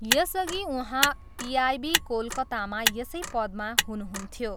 यसअघि उहाँ पिआइबी कोलकातामा यसै पदमा हुनुहुन्थ्यो।